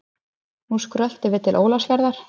Nú skröltum við til Ólafsfjarðar.